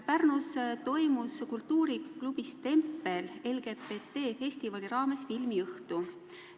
Pärnus toimus kultuuriklubis Tempel LGBT festivali raames filmiõhtu.